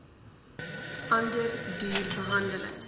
ander duur behandeling